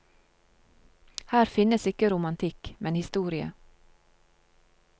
Her finnes ikke romantikk, men historie.